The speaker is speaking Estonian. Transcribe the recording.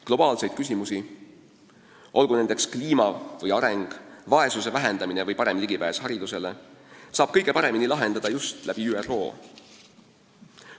Globaalseid küsimusi, olgu nendeks kliima või areng, vaesuse vähendamine või parem ligipääs haridusele, saab kõige paremini lahendada just ÜRO kaudu.